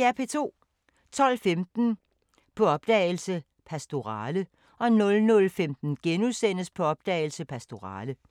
12:15: På opdagelse – Pastorale 00:15: På opdagelse – Pastorale *